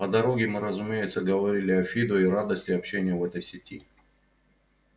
по дороге мы разумеется говорили о фидо и радости общения в этой сети